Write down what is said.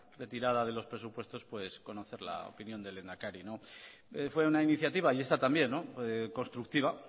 retirada de los presupuestos conocer la opinión del lehendakari fue una iniciativa y esta también constructiva